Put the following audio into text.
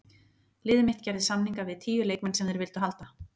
Liðið mitt gerði samninga við tíu leikmenn sem þeir vildu halda.